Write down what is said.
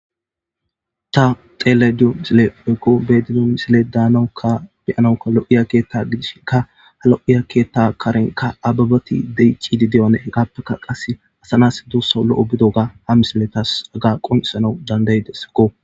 ta xele diyo misile ekko bedido misile daanokka beyanoka lo7iya keetta gidishi ka ha lo7iya keetta karenka ababati deyiccidi deyone heqaappeka qasse asanas doossa lo7o bido ga ha mismiletas aga qonisanau dandayidesakko